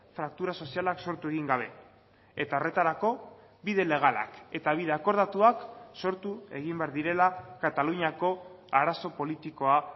fraktura sozialak sortu egin gabe eta horretarako bide legalak eta bide akordatuak sortu egin behar direla kataluniako arazo politikoa